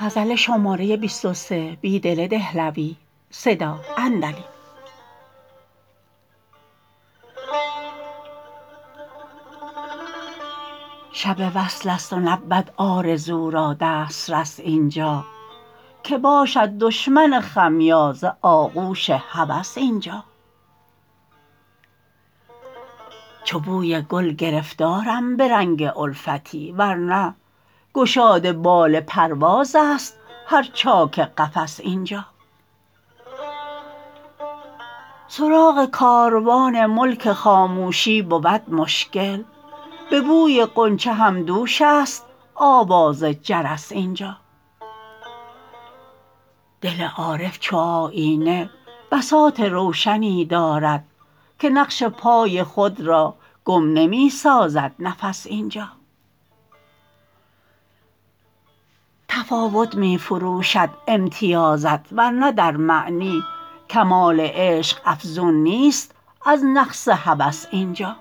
شب وصل است و نبود آرزو را دسترس اینجا که باشد دشمن خمیازه آغوش هوس اینجا چو بوی گل گرفتارم به رنگ الفتی ورنه گشاد بال پرواز است هر چاک قفس اینجا سراغ کاروان ملک خاموشی بود مشکل به بوی غنچه هم دوش است آواز جرس اینجا دل عارف چو آیینه بساط روشنی دارد که نقش پای خود را گم نمی سازد نفس اینجا تفاوت می فروشد امتیازت ورنه در معنی کمال عشق افزون نیست از نقص هوس اینجا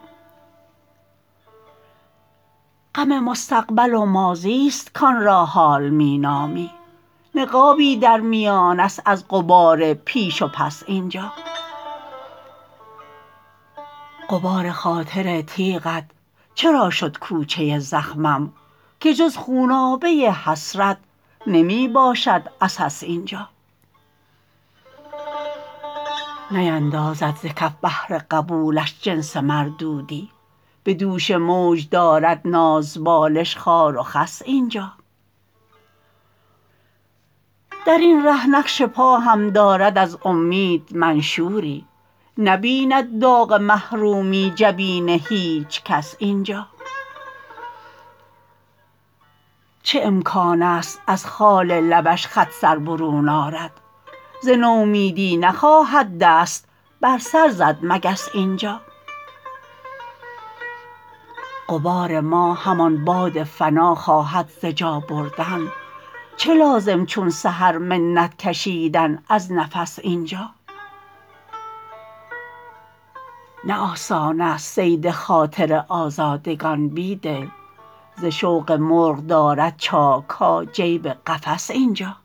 غم مستقبل و ماضی ست کان را حال می نامی نقابی در میان است از غبار پیش و پس اینجا غبار خاطر تیغ ات چرا شد کوچه زخمم که جز خونابه حسرت نمی باشد عسس اینجا نیندازد ز کف بحر قبولش جنس مردودی به دوش موج دارد نازبالش خار و خس اینجا درین ره نقش پا هم دارد از امید منشوری نبیند داغ محرومی جبین هیچ کس اینجا چه امکان است از خال لبش خط سر برون آرد ز نومیدی نخواهد دست بر سر زد مگس اینجا غبار ما همان باد فنا خواهد ز جا بردن چه لازم چون سحر منت کشیدن از نفس اینجا نه آسان است صید خاطر آزادگان بیدل ز شوق مرغ دارد چاک ها جیب قفس اینجا